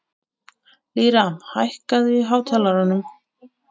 Lýra, hækkaðu í hátalaranum.